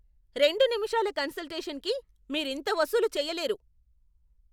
రెండు నిముషాల కన్సల్టేషన్కి మీరింత వసూలు చెయ్యలేరు!